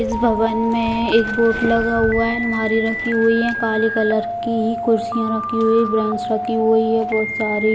इस भवन में एक बोर्ड लगा हुए है। आलमारी रखी हुई है काले कलर की। कुर्सियां रखी हुई है ब्रेंच रखी हुई है बोहोत सारी।